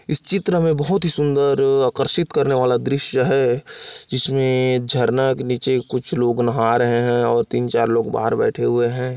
इस चित्र में बहुत ही सुंदर आकर्षित करने वाला दृश्य है जिसमे झरना के नीचे कुछ लोग नहा रहे हैं बाहर भी बैठे हुए हैं।